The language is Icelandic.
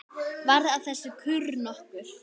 Varð af þessu kurr nokkur.